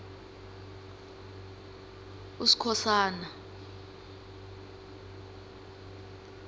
uskhosana